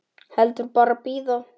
Heldur bara bíða.